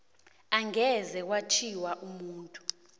angeze kwathiwa umuntu